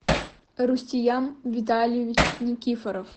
рустиям витальевич никифоров